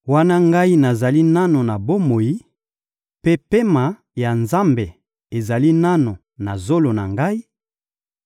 wana ngai nazali nanu na bomoi, mpe pema ya Nzambe ezali nanu na zolo na ngai,